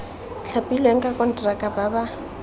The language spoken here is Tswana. thapilweng ka konteraka ba ba